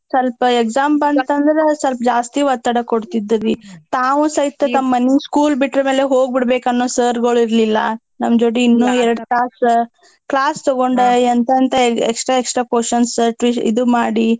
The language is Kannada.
ಸ್ವಲ್ಪ exam ಬಂತಂದ್ರ ಸ್ವಲ್ಪ ಜಾಸ್ತಿ ಒತ್ತಡ ಕೊಡ್ತಿದ್ರರೀ ತಾವೂ ಸೈತ ತಮ್‌ ಮನೀ school ಬಿಟ್ರ್ ಮೇಲೆ ಹೋಗ್ ಬಿಡ್ಬೇಕನ್ನೋ sir ಗಳ್ ಇರ್ಲಿಲ್ಲಾ ನಮ್ ಜೋಡಿ ಇನ್ನೂ ಎರ್ಡ್ ತಾಸ class ತಗೊಂಡ ಎಂತಂತ extra extra questions twi~ ಇದು ಮಾಡಿ.